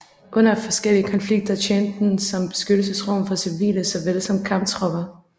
Under forskellige konflikter tjente den som beskyttelsesrum for civile såvel som kamptropper